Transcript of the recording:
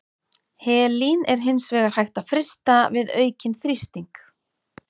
Helín er hins vegar hægt að frysta við aukinn þrýsting.